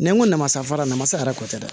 Ni n ko namasara namasara ko tɛ dɛ